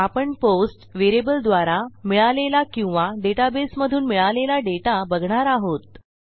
आपण पोस्ट व्हेरिएबलद्वारा मिळालेला किंवा डेटाबेसमधून मिळालेला डेटा बघणार आहोत